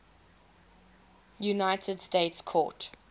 united states court